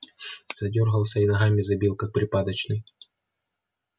задёргался и ногами забил как припадочный